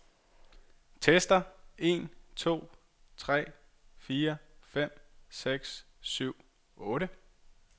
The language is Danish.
Tester en to tre fire fem seks syv otte.